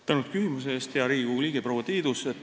Tänan küsimuse eest, hea Riigikogu liige proua Tiidus!